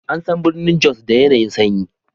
An san birnin Jos da yanayi'n sanyi.